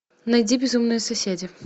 найди безумные соседи